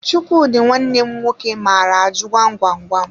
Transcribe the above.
Chukwudi nwanne m nwoke maara ajụ gwam gwam gwam